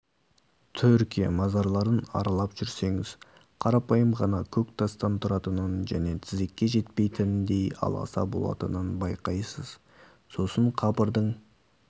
түркия мазарларын аралап жүрсеңіз қарапайым ғана көктастан тұратынын және тізеге жетпейтіндей аласа болатынын байқайсыз сосын қабірдің